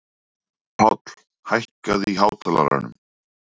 Páll, hækkaðu í hátalaranum.